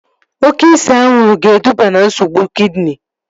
Oke ise anwụrụ ga-eduba na nsogbu kidini